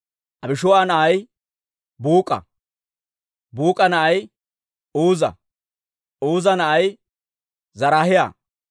Abishuu'a na'ay Buuk'a; Buuk'a na'ay Uuza; Uuza na'ay Zaraahiyaa.